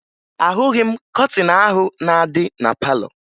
Ahụghị m kọtịn ahụ na-adị na palọ